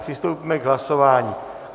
Přistoupíme k hlasování.